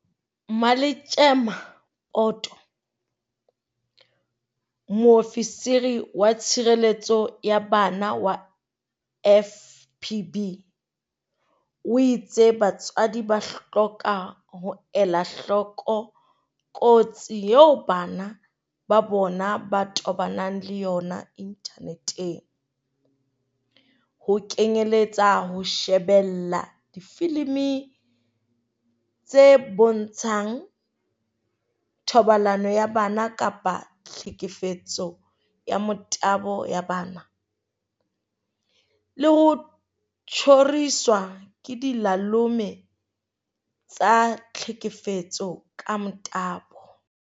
Mmaletjema Poto, Moofisiri wa Tshireletso ya Bana wa FPB, o itse batswadi ba hloka ho ela hloko kotsi eo bana ba bona ba tobanang le yona inthaneteng, ho kenyeletsa ho shebella difilimi tse bontshang thobalano ya bana kapa tlhekefetso ya motabo ya bana, le ho tjhoriswa ke dilalome tsa tlhekefetso ka motabo.